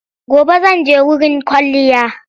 Gobe zan je wurin kwalliya.